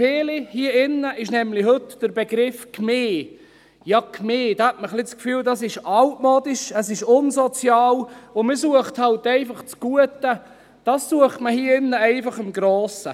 Viele hier im Grossen Rat haben heute beim Begriff «Gemeinde» ein wenig das Gefühl, das sei altmodisch, es sei unsozial, und man suche das Gute hier drin halt einfach im Grossen.